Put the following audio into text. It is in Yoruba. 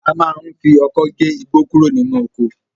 A máa ń fi ọkọ́ gé igbó kúrò nínú oko